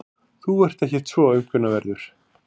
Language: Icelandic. Þú ert ekkert svo aumkunarverður.